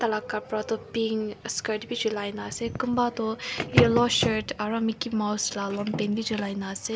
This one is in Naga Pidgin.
laka kapra toh pink skirt bi chulaina ase kunba toh yellow shirt aru mickey mouse la long pant bi chulai na ase.